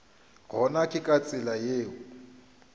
gona ke ka tsela yeo